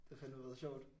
Det har fandeme været sjovt